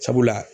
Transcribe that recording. Sabula